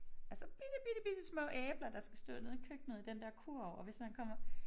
Altså bitte bitte bitte små æbler der skal stå nede i køkkenet i den der kurv og hvis man kommer